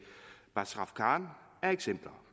bazrafkan er eksempler